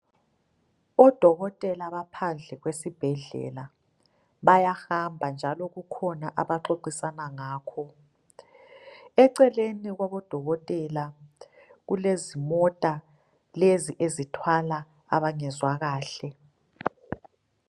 Odokotela baphandle kwesibhedlela, bayahamba njalo kukhona abaxoxisana ngakho, eceleni kwabodokotela, kulezimota lezi ezithwala abangezwa kahle.